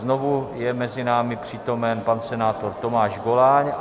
Znovu je mezi námi přítomen pan senátor Tomáš Goláň.